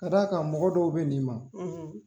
Ka d'a kan mɔgɔ dɔw be n'i ma